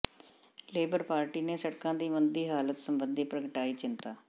labour Party ਨੇ ਸੜਕਾਂ ਦੀ ਮੰਦੀ ਹਾਲਤ ਸਬੰਧੀ ਪ੍ਰਗਟਾਈ ਚਿੰਤਾ